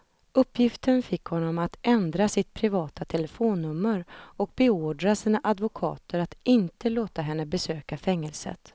För ett ögonblick stod jag som förstenad, medan jag såg dem komma ännu närmare och såg ondskan lysa i deras ögon.